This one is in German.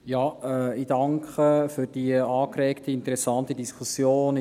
Ich danke für die angeregte, interessante Diskussion.